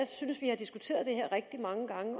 synes vi har diskuteret det her rigtig mange gange